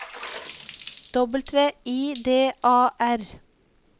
W I D A R